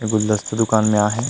गुलदस्ता दुकान में आए हे।